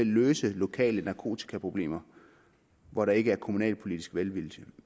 løse lokale narkotikaproblemer hvor der ikke er kommunalpolitisk velvilje